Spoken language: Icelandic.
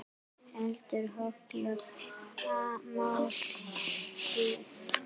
Eldaðu holla máltíð.